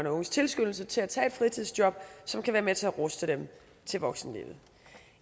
og unges tilskyndelse til at tage et fritidsjob som kan være med til at ruste dem til voksenlivet